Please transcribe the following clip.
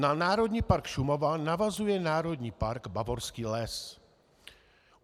Na Národní park Šumava navazuje Národní park Bavorský les.